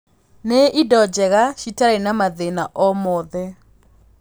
nĩ ĩndo njega cĩtari na mathĩna o mothe